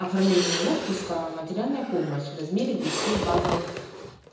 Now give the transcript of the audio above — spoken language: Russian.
оформление отпуска материальная помощь в размере десяти базовых